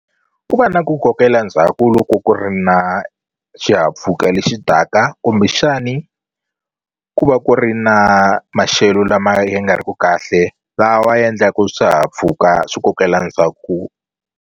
Ku va na ku kokela ndzhaku loko ku ri na xihahampfhuka lexi taka kumbexani ku va ku ri na maxelo lama ya nga ri ku kahle lawa ndlaku swihahampfhuka swi kokela ndzhaku.